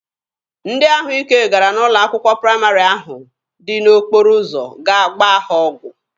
Ndị ahụ ike gara n'ụlọ akwụkwọ praịmarị ahụ dị n'okporo ụzọ gaa gbaa ha ọgwụ.